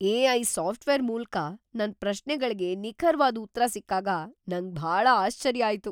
AI. Software ಮೂಲ್ಕ ನನ್ ಪ್ರಶ್ನೆಗಳ್ಗೆ ನಿಖರ್ವಾದ್ ಉತ್ರ ಸಿಕ್ಕಾಗ ನಂಗ್ ಭಾಳ ಆಶ್ಚರ್ಯ ಆಯ್ತು.